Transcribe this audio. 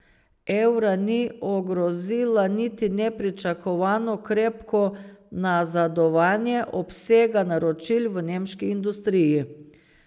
Evra ni ogrozila niti nepričakovano krepko nazadovanje obsega naročil v nemški industriji.